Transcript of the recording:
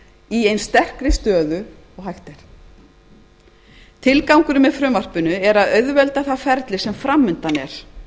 í eins sterkri stöðu og hægt er tilgangurinn með frumvarpinu er að auðvelda það ferli sem framundan er